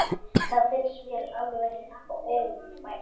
Það finnst mér alveg ófært.